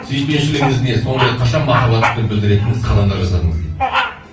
сүйіспеншілігіңіз не соңғы рет қашан махаббатты білдіретін іс қадамдар жасадыңыз дейді